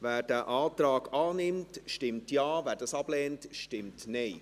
Wer diesen Antrag annimmt, stimmt Ja, wer dies ablehnt, stimmt Nein.